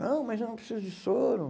Não, mas eu não preciso de soro.